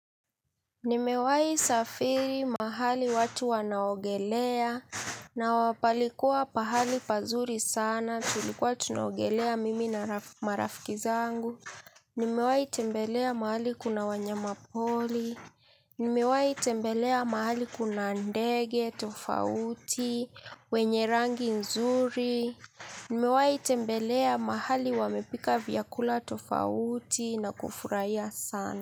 Nimewahi safiri mahali watu wanaogelea, na wa palikuwa pahali pazuri sana, tulikuwa tunaogelea mimi na marafiki zangu. Nimewahi tembelea mahali kuna wanyama pori. Nimewahi tembelea mahali kuna ndege, tofauti, wenye rangi nzuri. Nimewahi tembelea mahali wamepika vyakula tofauti na kufurahia sana.